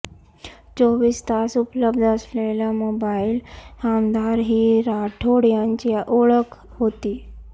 चोवीस तास उपलब्ध असलेला मोबाईल आमदार ही राठोड यांची ओळख होती